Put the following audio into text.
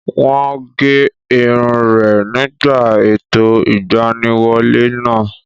Wọ́n gé irun rẹ̀ nígbà ètò ìgbaniwọlé náà